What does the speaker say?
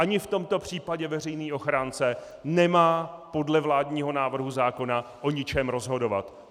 Ani v tomto případě veřejný ochránce nemá podle vládního návrhu zákona o ničem rozhodovat.